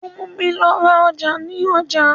Ó múmi lọ ra ọjà ní ọjà.